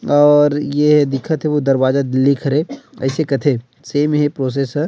और ये ह दिखत हे वो दरवाजा दिल्ली के हरे अइसे कथे सैम हे प्रोसेसर --